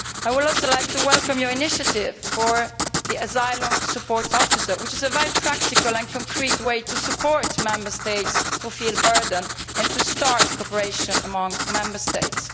I would also like to welcome his initiative for the asylum support officer, which is a very practical and concrete way to support Member States who feel burdened and to start cooperation among Member States.